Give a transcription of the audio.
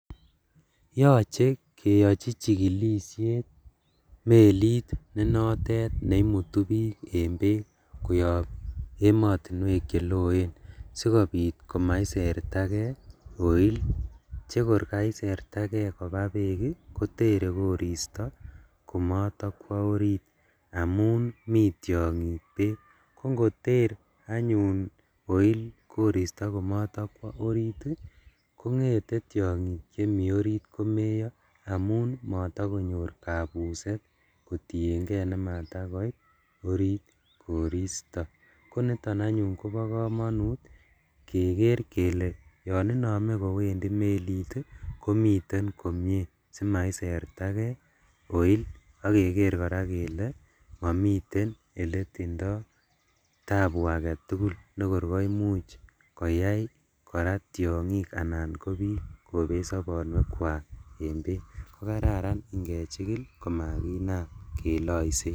Yoche keyochi chikilisiet melit nenotet neimutu bik en beek koyob emotinuek cheloeen sikobit komaiserta kee oil, chekor kaiserta kee kobaa beek ii kotere koristo komotokwo orit amun mi tiongik, kongoter anyun oil koristo komotokwo orit ii kongete tiongik chemi orit komeyo amun motokonyor kabuset kotiengee nematakoit orit koristo koniton anyun kobo komonut keker kele yon inome kowendi melit ii komiten komie simaiserta kee oil, ok keker koraa kele momiten eletindo tabu aketugul nekor koimuch koyai koraa tiongik anan kobik kobet sobonwekwak en beek kokararan ingechikil komakinam keloisen.